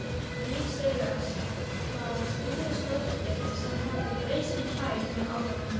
Lífseigast var stríðnisglottið sem hafði breyst í kæk með árunum.